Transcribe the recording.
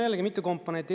Jällegi mitu komponenti.